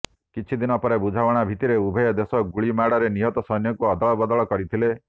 କିଛି ଦିନ ପରେ ବୁଝାମଣା ଭିତ୍ତିରେ ଉଭୟ ଦେଶ ଗୁଳି ମାଡ଼ରେ ନିହତ ସୈନ୍ୟଙ୍କୁ ଅଦଳବଦଳ କରିଥିଲେ